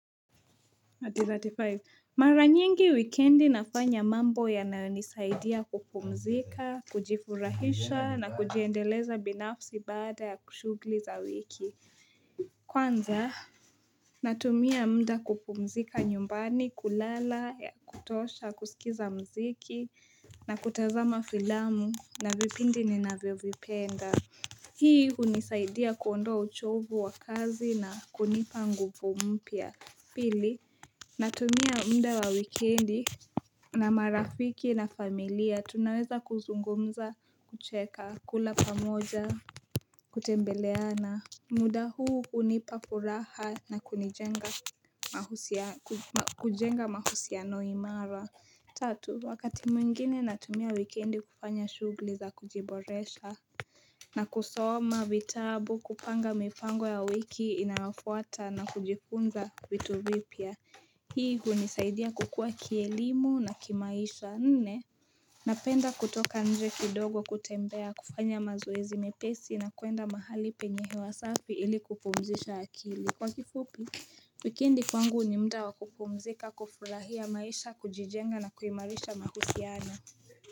Mara nyingi wikendi nafanya mambo yanayonisaidia kupumzika, kujifurahisha na kujiendeleza binafsi baada ya kushughuli za wiki Kwanza natumia muda kupumzika nyumbani, kulala ya kutosha, kusikiza mziki na kutazama filamu na vipindi ninavyovipenda Hii hunisaidia kuondoa uchovu wa kazi na kunipa nguvu mpya Pili, natumia muda wa wikendi na marafiki na familia tunaweza kuzungumza kucheka kula pamoja Kutembeleana muda huu hunipa furaha na kujenga mahusiano imara Tatu, wakati mwingine natumia wikendi kufanya shughuli za kujiboresha na kusoma vitabu kupanga mipango ya wiki inayofuata na kujifunza vitu vipya Hii hunisaidia kukua kielimu na kimaisha nne Napenda kutoka nje kidogo kutembea kufanya mazoezi mepesi na kuenda mahali penye hewa safi ili kupumzisha akili Kwa kifupi Wikendi kwangu ni muda wa kupumzika kufurahia maisha kujijenga na kuimarisha mahusiano.